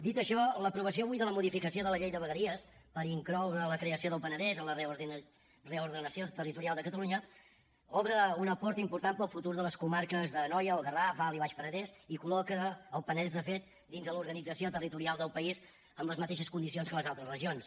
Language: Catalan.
dit això l’aprovació avui de la modificació de la llei de vegueries per incloure la creació del penedès a la reordenació territorial de catalunya obre una porta important per al futur de les comarques d’anoia el garraf alt i baix penedès i col·loca el penedès de fet dins de l’organització territorial del país amb les mateixes condicions que les altres regions